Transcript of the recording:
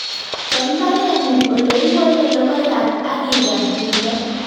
Chop mbaren'ung' ole ikolee logoiyat ak igar timdo